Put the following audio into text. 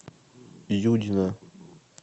юдина